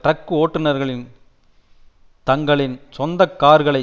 truck ஓட்டுநர்களின் தங்களின் சொந்த கார்களை